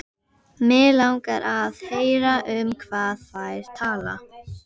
Mig langar að heyra um hvað þær tala.